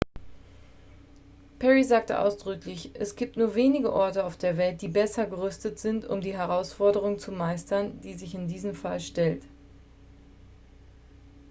"perry sagte ausdrücklich: "es gibt nur wenige orte auf der welt die besser gerüstet sind um die herausforderung zu meistern die sich in diesem fall stellt.""